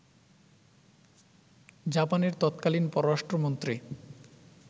জাপানের তৎকালীন পররাষ্ট্রমন্ত্রী